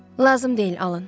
Lazım deyil, Alan.